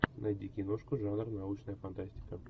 найди киношку жанр научная фантастика